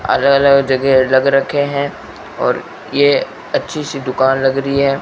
अलग अलग जगह रख रखे हैं और ये अच्छी सी दुकान लग रही है।